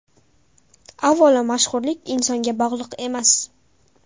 Avvalo, mashhurlik insonga bog‘liq emas.